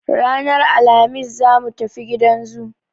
Ranar Alhamis za mu tafi gidan zoo.